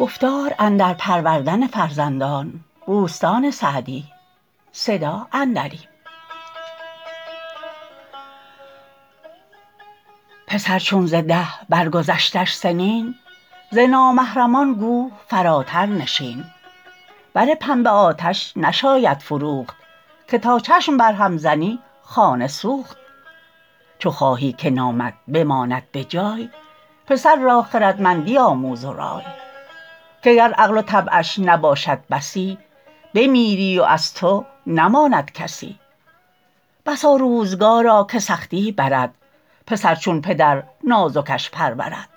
پسر چون ز ده بر گذشتش سنین ز نامحرمان گو فراتر نشین بر پنبه آتش نشاید فروخت که تا چشم بر هم زنی خانه سوخت چو خواهی که نامت بماند به جای پسر را خردمندی آموز و رای که گر عقل و طبعش نباشد بسی بمیری و از تو نماند کسی بسا روزگارا که سختی برد پسر چون پدر نازکش پرورد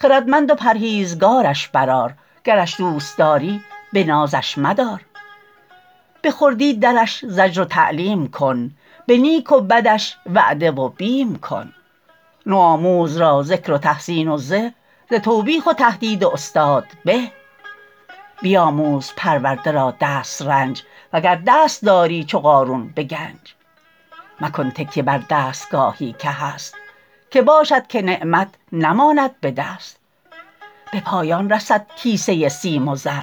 خردمند و پرهیزگارش بر آر گرش دوست داری به نازش مدار به خردی درش زجر و تعلیم کن به نیک و بدش وعده و بیم کن نوآموز را ذکر و تحسین و زه ز توبیخ و تهدید استاد به بیاموز پرورده را دسترنج وگر دست داری چو قارون به گنج مکن تکیه بر دستگاهی که هست که باشد که نعمت نماند به دست به پایان رسد کیسه سیم و زر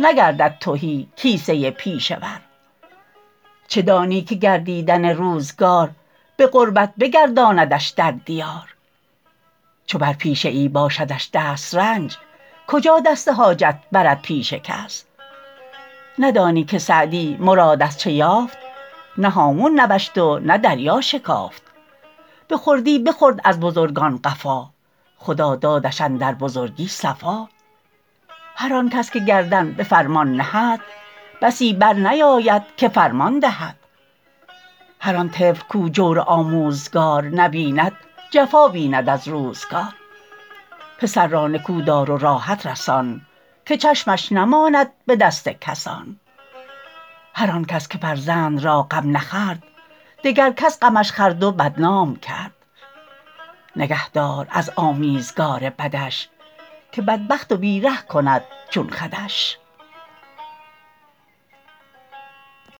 نگردد تهی کیسه پیشه ور چه دانی که گردیدن روزگار به غربت بگرداندش در دیار چو بر پیشه ای باشدش دسترس کجا دست حاجت برد پیش کس ندانی که سعدی مراد از چه یافت نه هامون نوشت و نه دریا شکافت به خردی بخورد از بزرگان قفا خدا دادش اندر بزرگی صفا هر آن کس که گردن به فرمان نهد بسی بر نیاید که فرمان دهد هر آن طفل کاو جور آموزگار نبیند جفا بیند از روزگار پسر را نکو دار و راحت رسان که چشمش نماند به دست کسان هر آن کس که فرزند را غم نخورد دگر کس غمش خورد و بدنام کرد نگه دار از آمیزگار بدش که بدبخت و بی ره کند چون خودش